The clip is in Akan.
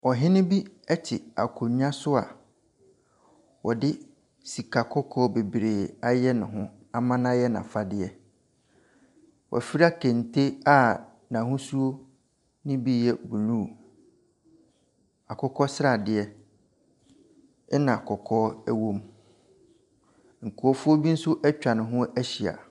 Ɔhene bi te akonnwa so a ɔde sika kɔkɔɔ bebree ayɛ ne ho ama no ayɛ n'afadeɛ. Wafura kente a n'ahosuo no bi yɛ blue, akokɔ sradeɛ, ɛnna kɔkɔɔ wom. Nkurɔfoɔ bi nso atwa ne ho ahyia.